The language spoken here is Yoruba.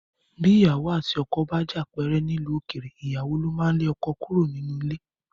Bí ìyàwó àti ọkọ bá jà pẹ́rẹ́ nílùú òkèèrè, ìyàwó ló máa ń lé ọkọ kúrò nínú ilé